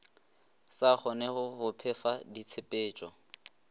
sa kgonege go phefa ditshepetšo